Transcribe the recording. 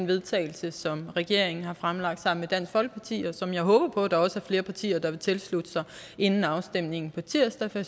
vedtagelse som regeringen har fremsat sammen dansk folkeparti og som jeg håber på der er flere partier der vil tilslutte sig inden afstemningen på tirsdag for